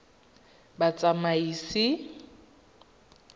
batsamaisi